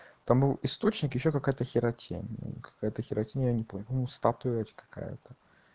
там источник ещё какая-то хирокития какая-то статуя какая-то